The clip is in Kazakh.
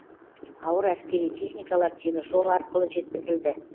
ауыр әскери техникалар теміржол арқылы жеткізілді